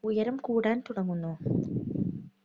ഉയരം കൂടാൻ തുടങ്ങുന്നു.